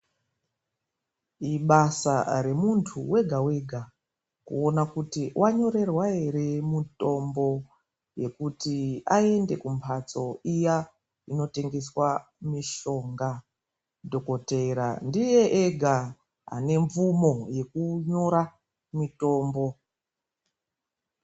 Ibasa remuntu wega wega kuona kuti wanyorerwa here mitombo yekuti aende kumphatso iya inotengeswa mitombo dhokoteya ndiye ega ane mvumo yekunyora mitombo.